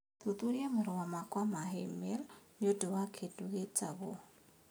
Thuthuria marũa makwa ma i-mīrū nĩ ũndũ wa kĩndũ gĩtagwo